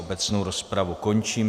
Obecnou rozpravu končím.